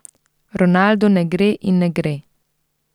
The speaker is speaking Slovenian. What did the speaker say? Ronaldu ne gre in ne gre.